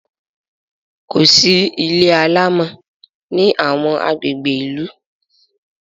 kòsí ilé alamò ní awọn agbègbè ilu